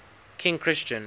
king christian